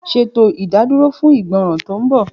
Ṣeto idaduro fun igbọran ti nbọ.